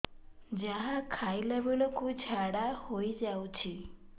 ଯାହା ଖାଇଲା ବେଳକୁ ଝାଡ଼ା ହୋଇ ଯାଉଛି